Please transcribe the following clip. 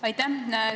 Aitäh!